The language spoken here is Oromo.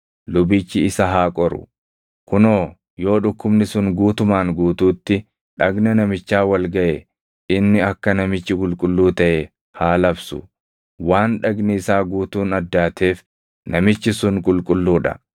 lubichi isa haa qoru; kunoo yoo dhukkubni sun guutumaan guutuutti dhagna namichaa wal gaʼe inni akka namichi qulqulluu taʼe haa labsu. Waan dhagni isaa guutuun addaateef namichi sun qulqulluu dha.